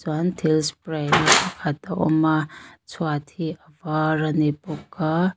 chuan thil spary na pakhat a a awm a chhuata hi a var a ni bawk a.